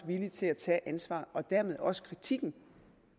villig til at tage ansvar og dermed også kritikken